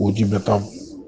у тебя там